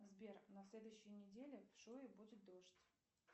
сбер на следующей неделе в шуе будет дождь